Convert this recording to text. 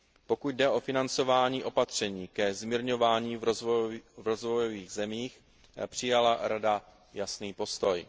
Pokud jde o financování opatření ke zmírňování v rozvojových zemích, přijala Rada jasný postoj.